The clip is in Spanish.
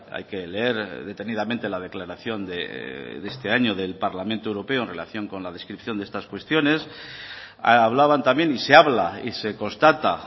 hay que leer detenidamente la declaración de este año del parlamento europeo en relación con la descripción de estas cuestiones hablaban también y se habla y se constata